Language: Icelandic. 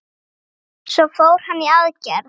Svo fór hann í aðgerð.